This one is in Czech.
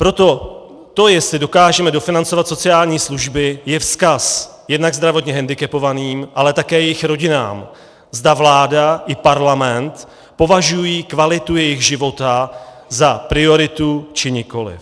Proto to, jestli dokážeme dofinancovat sociální služby, je vzkaz jednak zdravotně hendikepovaným, ale také jejich rodinám, zda vláda i parlament považují kvalitu jejich života za prioritu, či nikoliv.